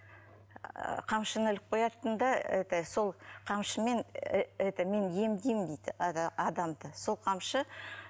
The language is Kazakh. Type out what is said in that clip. ііі қамшыны іліп қоятын да это сол қамшымен і это мен емдеймін дейді адамды сол қамшы